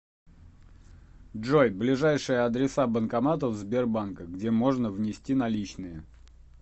джой ближайшие адреса банкоматов сбербанка где можно внести наличные